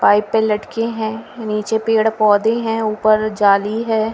Pipe पे लटके है नीचे पेड़ पोधै हैं ऊपर जाली हैं।